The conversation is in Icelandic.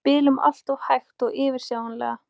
Við spiluðum alltof hægt og fyrirsjáanlega.